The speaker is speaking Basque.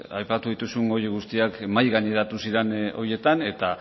aipatu dituzun horiek guztiak mahaigaineratu ziren horietan eta